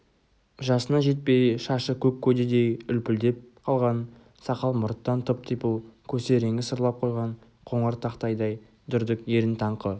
жасына жетпей шашы көк көдедей үлпілдеп қалған сақал-мұрттан тып-типыл көсе реңі сырлап қойған қоңыр тақтайдай дүрдік ерін таңқы